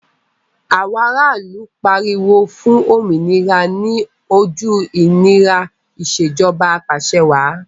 Àwọn ara ìlú pariwo fún òmìnira ní ojú ìnira Ìṣèjọba Ap'àṣẹwàá